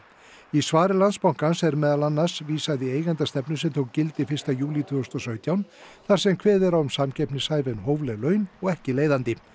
í svari Landsbankans er meðal annars vísað í eigendastefnu sem tók gildi fyrsta júlí tvö þúsund og sautján þar sem kveðið er á um samkeppnishæf en hófleg laun og ekki leiðandi